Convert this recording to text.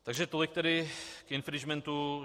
Takže tolik tedy k infringementu.